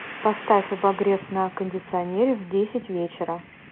поставь обогрев на кондиционере в десять вечера